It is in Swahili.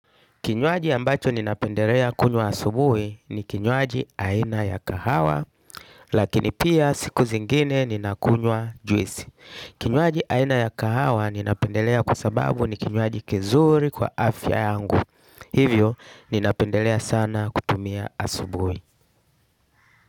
Kinywaji ambacho ninapendelea kunywa asubuhi ni kinywaji aina ya kahawa lakini pia siku zingine ninakunywa juice kinywaji aina ya kahawa ninapendelea kwa sababu ni kinywaji kizuri kwa afya yangu hivyo ninapendelea sana kutumia asubuhi.